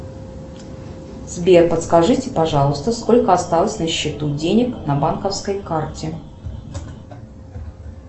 сбер подскажите пожалуйста сколько осталось на счету денег на банковской карте